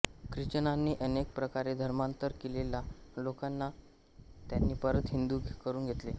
ख्रिश्चनांनी अनेक प्रकारे धर्मांतर केलेल्या लोकांना त्यांनी परत हिंदू करून घेतले